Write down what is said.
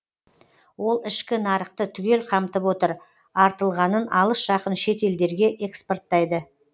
ол ішкі нарықты түгел қамтып отыр артылғанын алыс жақын шет елдерге экспорттайды